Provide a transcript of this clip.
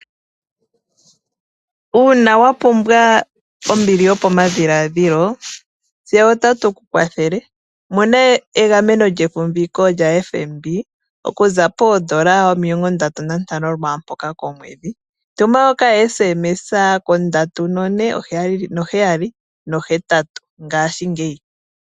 Uuna wa pumbwa ombili yopamadhiladhilo tse otatu ku kwathele . Mona egameno lyefumbiko lya FNB okuza poondola omilongo ndatu nantano lwaampoka komwedhi. Tuma okatumwalaka okahupi konomola ndji 3478 ngashingeyi.